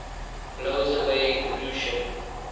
blows away pollution